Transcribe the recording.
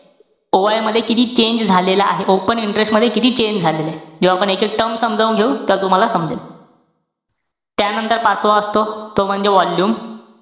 OI मध्ये किती change झालेला आहे. Open interest मध्ये किती change झालेला आहे. जेव्हा आपण याचे terms समजावून घेऊ तेव्हा तुम्हाला समजेल. त्यानंतर पाचवा असतो, तो म्हणजे volume.